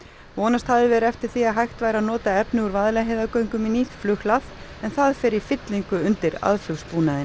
vonast hafði verið eftir því að hægt væri að nota efni úr Vaðlaheiðargöngum í nýtt flughlað en það fer í fyllingu undir